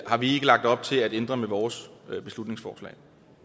har vi ikke lagt op til at ændre med vores beslutningsforslag